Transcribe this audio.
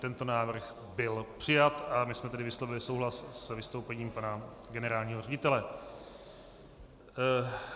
Tento návrh byl přijat a my jsme tedy vyslovili souhlas s vystoupením pana generálního ředitele.